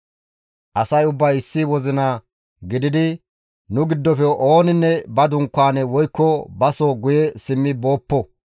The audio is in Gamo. Asay ubbay issi wozina gididi, «Nu giddofe ooninne ba dunkaane woykko baso guye simmi booppo;